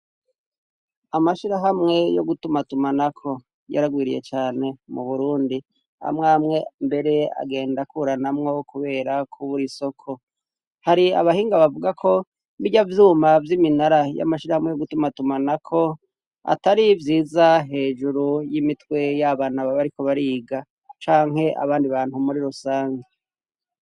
Amashirahamwe yo gutumatuma na ko yaragwiriye cyane mu Burundi amwamwe mbere agenda kuranamwo kubera ku buri soko hari abahinga bavuga ko birya vyuma by'iminara y'amashirahamwe yo gutumatuma na ko atari vyiza hejuru y'imitwe y'abantu baba ariko bariga canke abandi bantu muri rusange.